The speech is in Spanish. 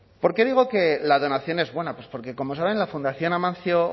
por qué digo que la donación es buena pues porque como saben la fundación amancio